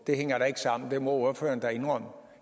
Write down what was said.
det hænger da ikke sammen det må ordføreren da indrømme